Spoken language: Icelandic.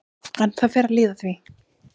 En það fer að líða að því.